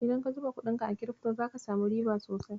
Idan ka zuba kuɗinka a kirifto, zaka samu riba sosai.